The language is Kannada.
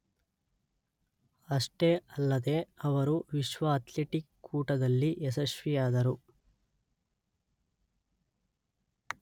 ಅಷ್ಟೇ ಅಲ್ಲದೇ ಅವರು ವಿಶ್ವ ಅಥ್ಲೆಟಿಕ್ ಕೂಟದಲ್ಲಿ ಯಶಸ್ವಿಯಾದರು.